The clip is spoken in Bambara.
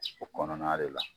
o kɔnɔna de la.